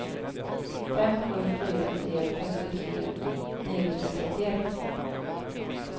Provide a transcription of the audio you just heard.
fem sju fyra tre femtiotre niohundratrettioett